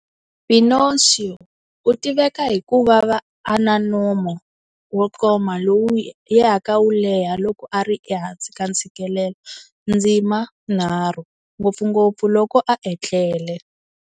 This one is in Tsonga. Pinocchio u tiveka hi ku va na nomo wo koma lowu yaka wu leha loko a ri ehansi ka ntshikilelo ndzima 3, ngopfungopfu loko a etlele.